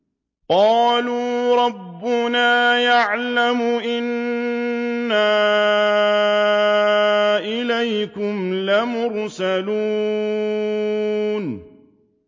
قَالُوا رَبُّنَا يَعْلَمُ إِنَّا إِلَيْكُمْ لَمُرْسَلُونَ